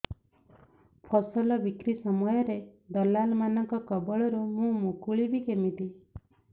ଫସଲ ବିକ୍ରୀ ସମୟରେ ଦଲାଲ୍ ମାନଙ୍କ କବଳରୁ ମୁଁ ମୁକୁଳିଵି କେମିତି